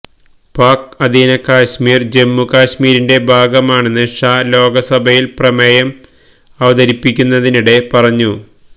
പാക് അധീന കശ്മീര് ജമ്മുകശ്മീരിന്റെ ഭാഗമാണെന്ന് ഷാ ലോകസ്ഭയില് പ്രമേയം അവതരിപ്പിക്കുന്നതിനിടെ പറഞ്ഞു